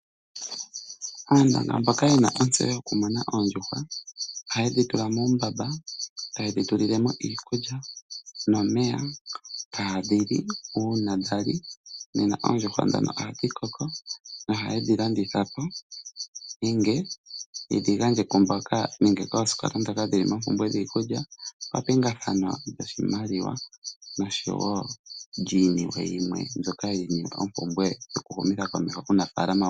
Aanongo mboka yena ontseyo yokumuna oondjuhwa ohayedhi tula muumbamba tayedhi tulilemo iikulya nomeya, tadhi li una dhali nena oondjuhwa dhoka ohadhi koko etaye dhi landitha po nenge yedhi gandje kwamboka nenge koosikola dhoka dhili moompumbwe dhiikulya papingathano lyoshimaliwa nenge lyinima yilwe yokuhumitha komeho ofaalama.